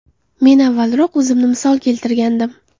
Men avvalroq o‘zimni misol keltirgandim.